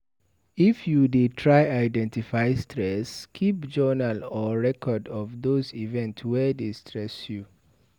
If you dey try identify stress, keep journal or record of those events wey dey stress you